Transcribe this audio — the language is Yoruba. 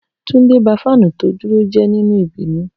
Tunde ba fanu to duro je ninu ibinu.